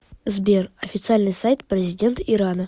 сбер официальный сайт президент ирана